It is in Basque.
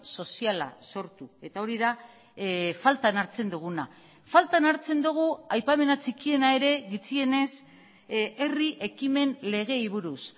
soziala sortu eta hori da faltan hartzen duguna faltan hartzen dugu aipamena txikiena ere gutxienez herri ekimen legeei buruz